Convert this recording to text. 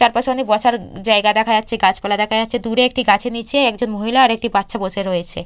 চারপাশে অনেক বসার জায়গা দেখা যাচ্ছে গাছপালা দেখা যাচ্ছে দুরে একটি গাছের নিচে একজন মহিলা আর একটি বাচ্চা বসে রয়েছে।